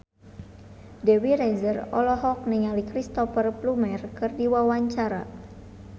Dewi Rezer olohok ningali Cristhoper Plumer keur diwawancara